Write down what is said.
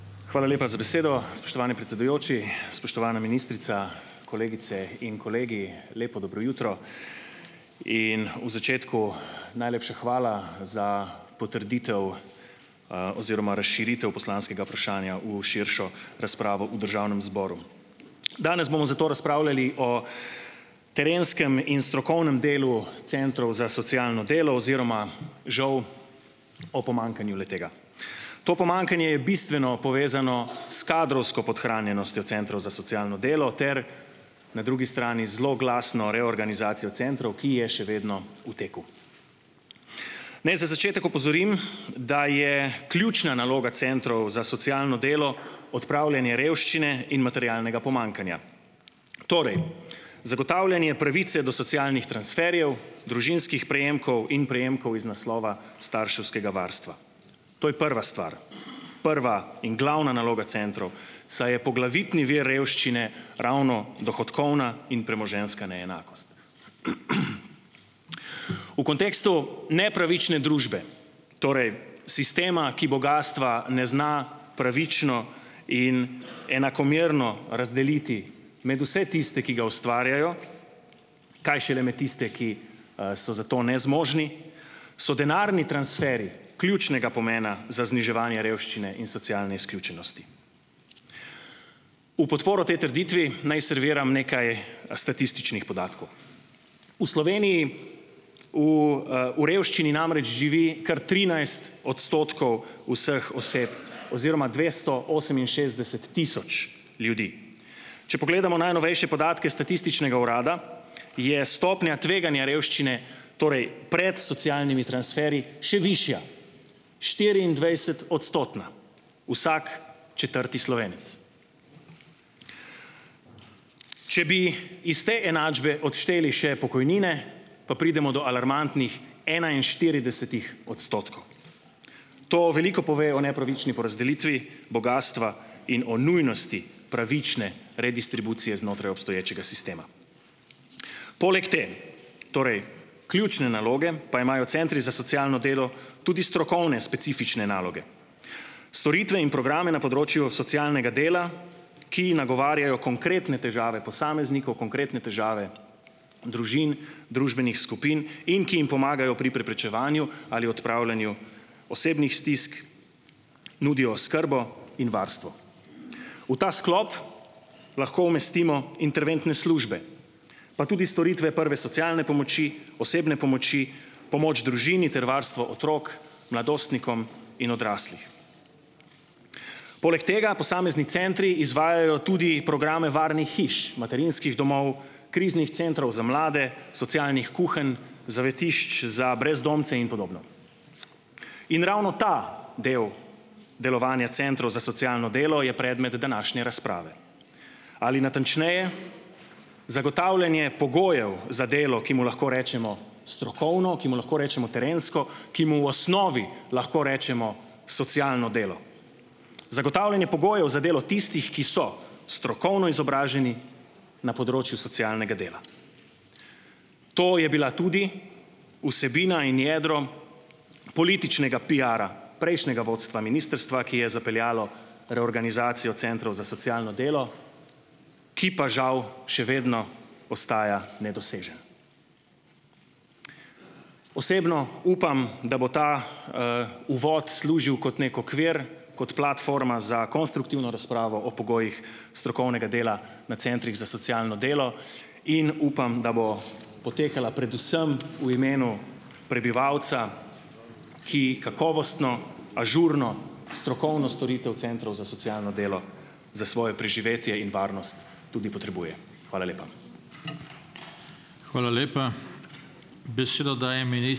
Hvala lepa za besedo, spoštovani predsedujoči. Spoštovana ministrica, kolegice in kolegi! Lepo dobro jutro! In v začetku najlepša hvala za potrditev, oziroma razširitev poslanskega vprašanja v širšo razpravo v državnem zboru. Danes bomo zato razpravljali o terenskem in strokovnem delu centrov za socialno delo oziroma žal o pomanjkanju le-tega. To pomankanje je bistveno povezano s kadrovsko podhranjenostjo centrov za socialno delo ter na drugi strani zloglasno reorganizacijo centrov, ki je še vedno v teku. Naj za začetek opozorim, da je ključna naloga centrov za socialno delo odpravljanje revščine in materialnega pomanjkanja. Torej, zagotavljanje pravice do socialnih transferjev, družinskih prejemkov in prejemkov iz naslova starševskega varstva. To je prva stvar. Prva in glavna naloga centrov, saj je poglavitni vir revščine ravno dohodkovna in premoženjska neenakost. V kontekstu nepravične družbe, torej sistema, ki bogastva ne zna pravično in enakomerno razdeliti med vse tiste, ki ga ustvarjajo, kaj šele med tiste, ki, so za to nezmožni, so denarni transferji ključnega pomena za zniževanje revščine in socialne izključenosti. V podporo tej trditvi naj serviram nekaj statističnih podatkov. V Sloveniji v, v revščini namreč živi kar trinajst odstotkov vseh oseb oziroma dvesto oseminšestdeset tisoč ljudi. Če pogledamo najnovejše podatke statističnega urada, je stopnja tveganja revščine, torej pred socialnimi transferji še višja, štiriindvajsetodstotna, vsak četrti Slovenec. Če bi iz te enačbe odšteli še pokojnine, pa pridemo do alarmantnih enainštiridesetih odstotkov. To veliko pove o nepravični porazdelitvi bogastva in o nujnosti pravične redistribucije znotraj obstoječega sistema. Poleg te, torej ključne naloge, pa imajo centri za socialno delo tudi strokovne specifične naloge. Storitve in programe na področju socialnega dela, ki nagovarjajo konkretne težave posameznikov, konkretne težave družin, družbenih skupin in ki jim pomagajo pri preprečevanju ali odpravljanju osebnih stisk, nudijo oskrbo in varstvo. V ta sklop lahko umestimo interventne službe, pa tudi storitve prve socialne pomoči, osebne pomoči, pomoč družini ter varstvo otrok, mladostnikom in odraslih. Poleg tega posamezni centri izvajajo tudi programe varnih hiš, materinskih domov, kriznih centrov za mlade, socialnih kuhinj, zavetišč za brezdomce in podobno. In ravno ta del delovanja centrov za socialno delo je predmet današnje razprave, ali natančneje, zagotavljanje pogojev za delo, ki mu lahko rečemo strokovno, ki mu lahko rečemo terensko, ki mu v osnovi lahko rečemo socialno delo. Zagotavljanje pogojev za delo tistih, ki so strokovno izobraženi na področju socialnega dela. To je bila tudi vsebina in jedro političnega piara prejšnjega vodstva ministrstva, ki je zapeljalo reorganizacijo centrov za socialno delo, ki pa žal še vedno ostaja nedoseženo. Osebno upam, da bo ta, uvod služil kot neki okvir, kot platforma za konstruktivno razpravo o pogojih strokovnega dela na centrih za socialno delo in upam, da bo potekala predvsem v imenu prebivalca, ki kakovostno, ažurno, strokovno storitev centrov za socialno delo za svoje preživetje in varnost tudi potrebuje. Hvala lepa.